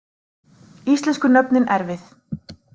Íslensku nöfnin erfið